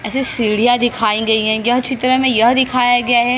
ऐसे सीढ़ियां दिखाएं गई है यह चित्र में यह दिखाया गया है।